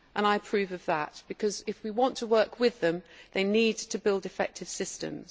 I approve of that because, if we want to work with them, they need to build effective systems.